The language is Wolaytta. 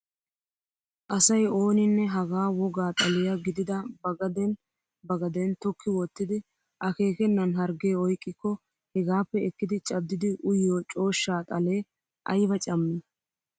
Asay ooninne hagaa wogaa xaliyaa gidida ba gaden ba gaden tokki wottidi akeekenan harggee oyqqiko hegaappe ekkidi caaddidi uyiyoo cooshshaa xalee ayba cammii!